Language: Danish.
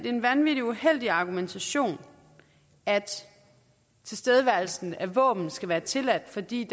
en vanvittig uheldig argumentation at tilstedeværelsen af våben skal være tilladt fordi